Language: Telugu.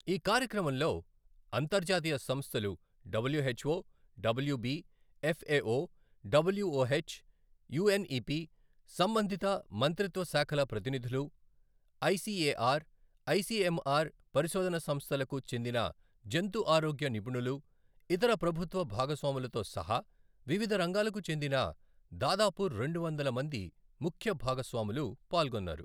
ఈ కార్యక్రమంలో అంతర్జాతీయ సంస్థలు WHO, WB, FAO, WOH, UNEP, సంబంధిత మంత్రిత్వ శాఖల ప్రతినిధులు, ఐసిఎఆర్, ఐసిఎంఆర్ పరిశోధన సంస్థలకు చెందిన జంతు ఆరోగ్య నిపుణులు, ఇతర ప్రభుత్వ భాగస్వాములతో సహా వివిధ రంగాలకు చెందిన దాదాపు రెండు వందల మంది ముఖ్య భాగస్వాములు పాల్గొన్నారు.